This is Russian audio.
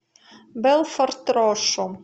белфорд рошу